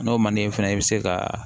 N'o man d'i ye fɛnɛ i bɛ se ka